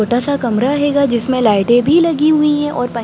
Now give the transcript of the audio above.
छोटा सा कमरा हेगा जिसमे लाइटे भी लगी हुई है| और प--